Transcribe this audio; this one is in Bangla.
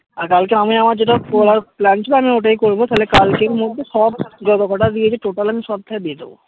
আর কালকে আমি আমার যেটা করার plan ছিল আমি ওটাই করবো তাহলে কালকের মধ্যেই সব জতকতাই দিয়েছে total আমি সবতাই দিয়ে দেব